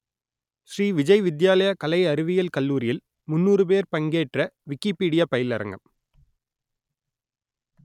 ஸ்ரீ விஜய் வித்யாலயா கலை அறிவியல் கல்லூரியில் முன்னூறு பேர் பங்கேற்ற விக்கிப்பீடியா பயிலரங்கம்